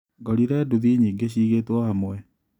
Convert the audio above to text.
Ngorire nduthi nyingĩ ciigĩtwo hamwe.